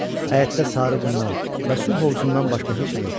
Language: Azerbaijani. Həyətdə sarı qumdan və su hovuzundan başqa heç nə yox idi.